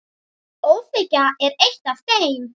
ÓÞREYJA er eitt af þeim.